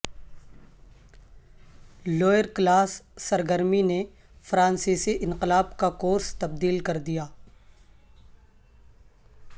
lower class سرگرمی نے فرانسیسی انقلاب کا کورس تبدیل کردیا